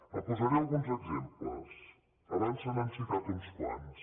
en posaré alguns exemples abans se n’han citat uns quants